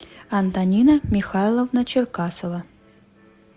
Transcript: антонина михайловна черкасова